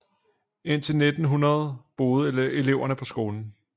Indtil 1900 boede eleverne på skolen